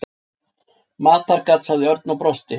Matargat sagði Örn og brosti.